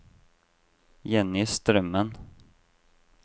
Jenny Strømmen